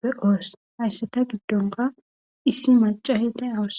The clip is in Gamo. be oos haysseta giddonka issi macaheta awuss